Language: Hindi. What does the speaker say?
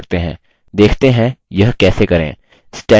देखते हैं यह कैसे करें